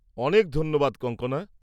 অনেক ধন্যবাদ কঙ্কনা!